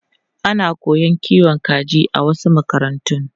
Ana koyon kiwon kaji a wasu makarantu.